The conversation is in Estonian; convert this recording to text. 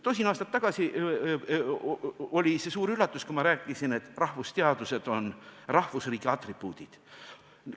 Tosin aastat tagasi oli see suur üllatus, kui ma rääkisin, et rahvusteadused on rahvusriigi atribuudid.